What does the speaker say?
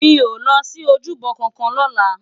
Mi ó lòsi ójúbò kànkàn lòlá